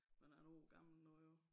Man er en år gammel nu jo